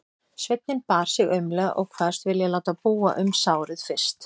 Sveinninn bar sig aumlega og kvaðst vilja láta búa um sárið fyrst.